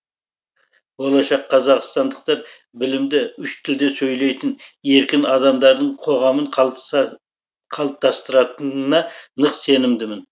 болашақ қазақстандықтар білімді үш тілде сөйлейтін еркін адамдардың қоғамын қалыптастыратынына нық сенімдімін